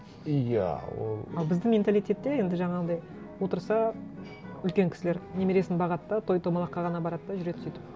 иә ол а біздің менталитетте енді жаңағындай отырса үлкен кісілер немересін бағады да той томалаққа ғана барады да жүреді сөйтіп